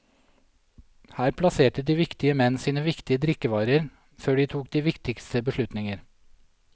Her plasserte de viktige menn sine viktige drikkevarer før de tok de viktigste beslutninger.